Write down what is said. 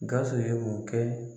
Gawusu ye o kɛ